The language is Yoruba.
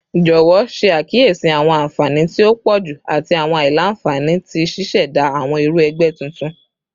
Jọwọ ṣe akiyesi awọn anfani ti o pọju ati awọn aila-nfani ti ṣiṣẹda awọn iru ẹgbẹ tuntun